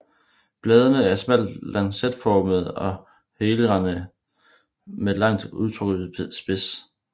Bladene er smalt lancetformede og helrandede med langt udtrukket spids